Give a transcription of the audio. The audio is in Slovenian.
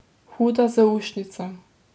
Huda zaušnica.